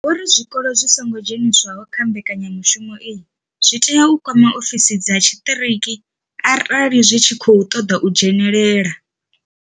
Vho ri zwikolo zwi songo dzheniswaho kha mbekanyamushumo iyi zwi tea u kwama ofisi dza tshiṱiriki arali zwi tshi khou ṱoḓa u dzhenelela.